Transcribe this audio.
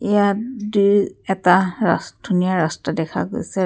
ইয়াত দু এটা ৰাচ ধুনীয়া ৰাস্তাৰ দেখা গৈছে ৰা--